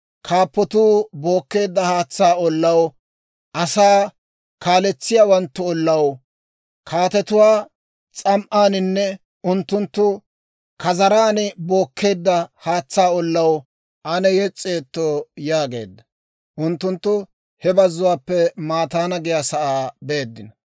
Kaappatuu bookkeedda haatsaa ollaw, asaa kaaletsiyaawanttu ollaw, kaatetuwaa s'am"aaninne unttunttu kazaran bookkeedda haatsaa ollaw ane yes's'eetto» yaageedda. Unttunttu he bazzuwaappe Mataana giyaasaa beeddino;